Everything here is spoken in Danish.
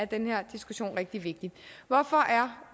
den her diskussion rigtig vigtig hvorfor